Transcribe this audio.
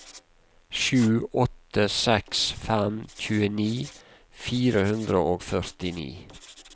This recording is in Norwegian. sju åtte seks fem tjueni fire hundre og førtini